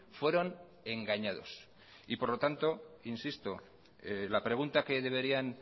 fueron engañados y por lo tanto insisto la pregunta que deberían